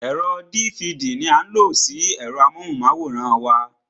Ẹ̀rọ dívidì ní a ń lo sí ẹ̀rọ amóhùnmáwòrán wa.